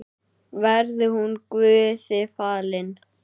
Verði hún Guði falin.